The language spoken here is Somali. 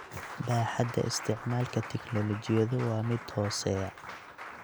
Baaxadda isticmaalka tignoolajiyadu waa mid hooseeya.